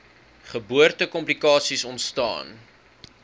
geboorte komplikasies ontstaan